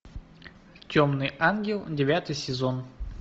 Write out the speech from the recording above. темный ангел девятый сезон